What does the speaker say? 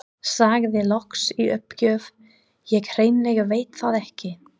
Sagði loks í uppgjöf: Ég hreinlega veit það ekki